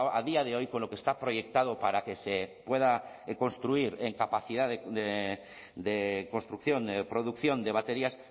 a día de hoy con lo que está proyectado para que se pueda construir en capacidad de construcción de producción de baterías